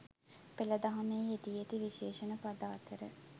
පෙළ දහමෙහි යෙදී ඇති විශේෂණ පද අතර